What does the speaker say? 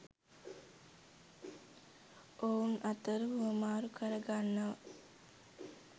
ඔවුන් අතර හුවමාරු කර ගන්නව